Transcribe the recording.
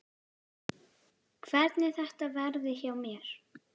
Hvernig þetta verði hjá mér.